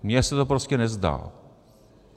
Mně se to prostě nezdá.